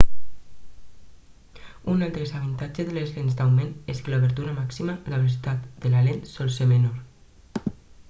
un altre desavantatge de les lents d'augment és que l'obertura màxima la velocitat de la lent sol ser menor